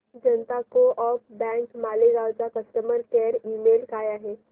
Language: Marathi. जनता को ऑप बँक मालेगाव चा कस्टमर केअर ईमेल काय आहे